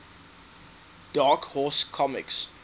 dark horse comics